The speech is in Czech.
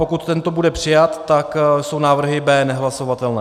Pokud tento bude přijat, tak jsou návrhy B nehlasovatelné.